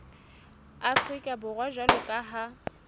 afrika borwa jwalo ka ha